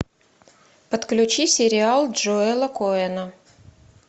подключи сериал джоэла коэна